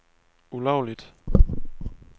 ulovligt